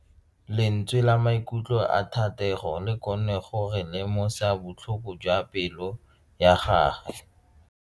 Lentswe la maikutlo a Thatego le kgonne gore re lemosa botlhoko jwa pelo ya gagwe.